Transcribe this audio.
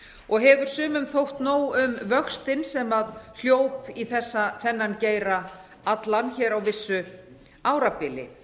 og hefur sumum þótt nóg um vöxtinn sem hljóp í þennan geira allan hér á vissu árabili